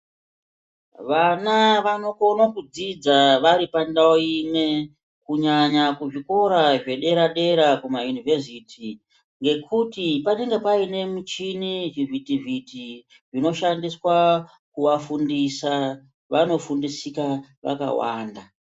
Vana vanokona kudzidza vari pandau imwe kunyanya kuzvikora zvedera dera kumaUnivhesiti ngekuti panenge paine michini zvivhiti vhiti zvinoshandiswa kuvafundisa vanofundisika vakawanda.